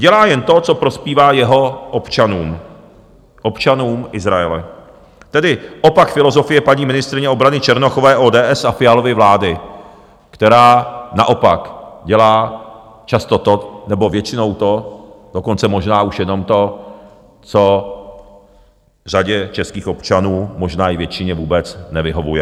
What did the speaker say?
Dělá jen to, co prospívá jeho občanům, občanům Izraele, tedy opak filozofie paní ministryně obrany Černochové, ODS a Fialovy vlády, která naopak dělá často to, nebo většinou to, dokonce možná už jenom to, co řadě českých občanů, možná i většině, vůbec nevyhovuje.